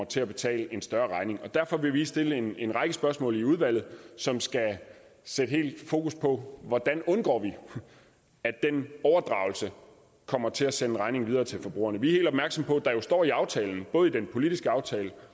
til at betale en større regning derfor vil vi stille en en række spørgsmål i udvalget som skal sætte fokus på hvordan vi undgår at den overdragelse kommer til at sende regningen videre til forbrugerne vi opmærksomme på at der jo står i aftalen både i den politiske aftale